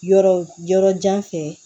Yɔrɔ yɔrɔ jan fɛ